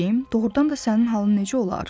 doğrudan da sənin halın necə olar?